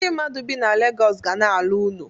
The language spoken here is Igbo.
Ndi mmadụ bi na Legọs ga na-ala uno.